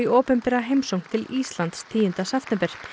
opinbera heimsókn til Íslands tíunda september